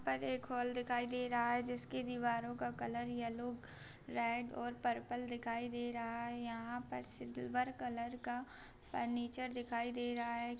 पर एक हॉल दिखाई दे रहा है जिसकी दीवारों का कलर येलो रेड और पर्पल दिखाई दे रहा है यहाँ पर सिल्वर कलर का फर्नीचर दिखाई दे रहा है ।